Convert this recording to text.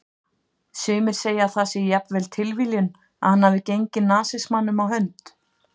Sumir segja að það sé jafnvel tilviljun að hann hafi gengið nasismanum á hönd.